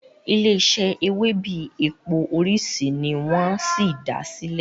ilé ise Ewebẹ̀ èpò orisi ni wón sí dá silẹ